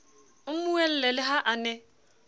mmuele le ha a ne